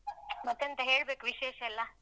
ಮತ್ತೆಂತ ಹೇಳ್ಬೇಕು ವಿಶೇಷಯೆಲ್ಲಾ?